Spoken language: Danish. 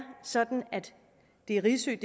sådan at det er risø